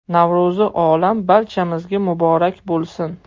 Navro‘zi olam barchamizga muborak bo‘lsin!”